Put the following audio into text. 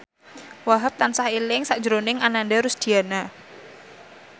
Wahhab tansah eling sakjroning Ananda Rusdiana